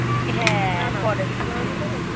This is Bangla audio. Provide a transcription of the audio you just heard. হ্যা পরে শিখবো